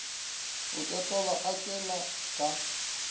a totoba a tšwela ka